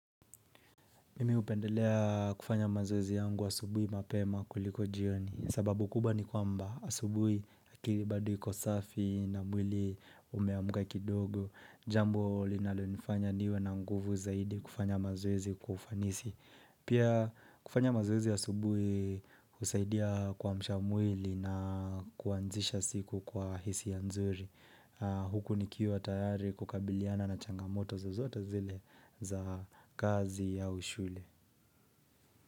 Mimi hupendelea kufanya mazoezi yangu asubuhi mapema kuliko jioni. Sababu kubwa ni kwamba asubuhi akili bado iko safi na mwili umeamka kidogo, jambo linalonifanya niwe na nguvu zaidi kufanya mazoezi kwa ufanisi. Pia kufanya mazoezi asubuhi husaidia kuamsha mwili na kuanzisha siku kwa hisia nzuri. Huku nikiwa tayari kukabiliana na changamoto zozote zile za kazi au shule.